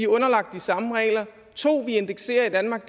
underlagt de samme regler 2 at vi indekserer i danmark